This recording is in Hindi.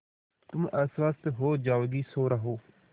तुम अस्वस्थ हो जाओगी सो रहो